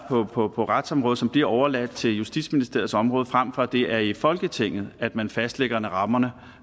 på på retsområdet som bliver overladt til justitsministeriets område frem for at det er i folketinget at man fastlægger rammerne